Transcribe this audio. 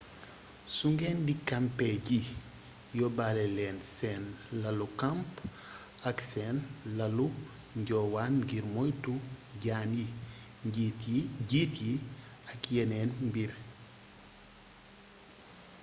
su ngeen di kampe ji yóbbaale leen seen lalu camps ak seen lalu njoowaan ngir moytu jaan yi jiit yi ak yeneen mbir